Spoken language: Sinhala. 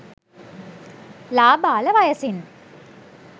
ළාබාල වයසින්